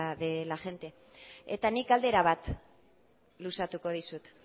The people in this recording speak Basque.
de la gente eta nik galdera bat luzatuko dizut